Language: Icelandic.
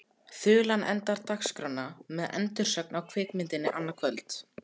Þulan endar dagskrána með endursögn á kvikmyndinni annað kvöld.